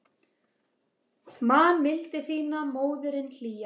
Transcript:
Man mildi þína, móðirin hlýja.